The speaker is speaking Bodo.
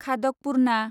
खादकपुर्ना